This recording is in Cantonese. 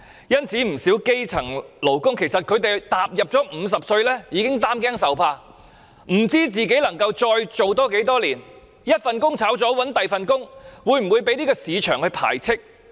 因此，不少基層勞工踏入50歲已經擔驚受怕，不知道自己能夠再工作多少年，若被辭退後再找另一份工作，會否被市場排斥？